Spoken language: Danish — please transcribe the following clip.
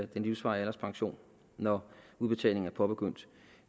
den livsvarige alderspension når udbetalingen er påbegyndt